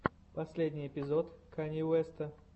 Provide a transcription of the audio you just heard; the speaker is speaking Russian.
последний эпизод канье уэста